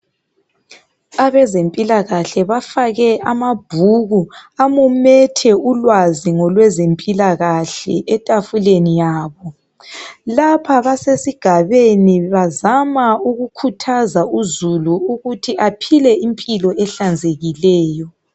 Abezempilakahle bafake amabhuku amumethe ulwazi ngolwezempilakahle etafuleni yabo. Lapha basesigabeni bazama ukukhuthaza uzulu ukuthi aphile impilo enhlanzekileyo.